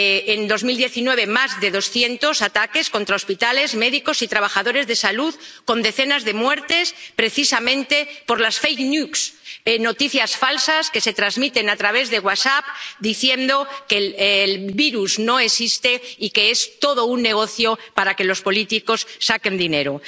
En 2019 se han producido más de doscientos ataques contra hospitales, médicos y trabajadores sanitarios con decenas de muertes precisamente por las noticias falsas que se transmiten a través de WhatsApp diciendo que el virus no existe y que es todo un negocio para que los políticos saquen dinero.